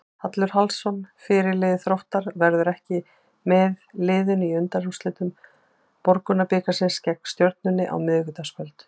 Hallur Hallsson, fyrirliði Þróttar, verður ekki með liðinu í undanúrslitum Borgunarbikarsins gegn Stjörnunni á miðvikudagskvöld.